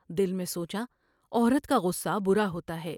دل میں سوچا عورت کا غصہ برا ہوتا ہے ۔